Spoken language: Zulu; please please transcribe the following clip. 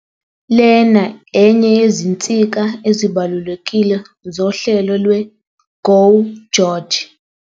"Lena enye yezinsika ezibalulekile zohlelo lwe-GO GEORGE.